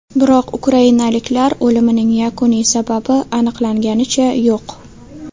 Biroq ukrainaliklar o‘limining yakuniy sababi aniqlanganicha yo‘q.